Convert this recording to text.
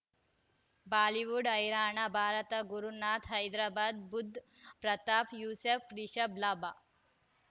Bollywood ಹೈರಾಣ ಭಾರತ ಗುರುನಾಥ ಹೈದರಾಬಾದ್ ಬುಧ್ ಪ್ರತಾಪ್ ಯೂಸುಫ್ ರಿಷಬ್ ಲಾಭ